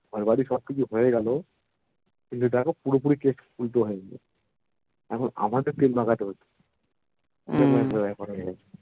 ঘরবাড়ি সবকিছু হয়েগেলো কিন্তু দেখো পুরোপুরি কেশ উল্টো হয়ে গেলো এখন আমাকে তেল মাখাতে হচ্ছে